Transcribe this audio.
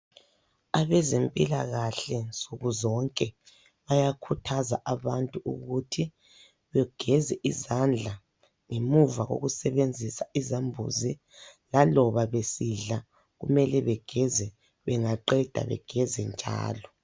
Abezempilakahle nsukuzonke bayakhuthaza abantu ukuthi begeze izandla ngemuva kokusebenzisa izambuzi. Laloba besidla kumele begeze, bengaqeda begeze njalo.